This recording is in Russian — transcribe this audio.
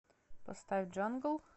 поставь джангл